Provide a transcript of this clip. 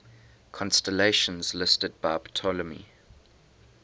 constellations listed by ptolemy